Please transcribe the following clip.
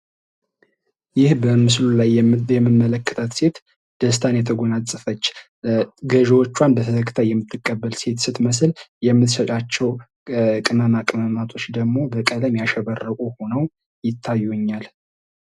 ይህ በምስሉ ላይ የምመለከታት ሴት ደስታን የጎናጸፈች ገዥዎቿን በተከታታይ የምትቀበል ሴት ስትመስል የምተሸጣቸው ቅማቅመሞች በቀለም ያሸበረቁ ሁነው ይታዩኛል።